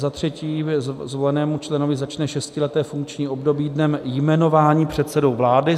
Za třetí, zvolenému členovi začne šestileté funkční období dnem jmenování předsedou vlády.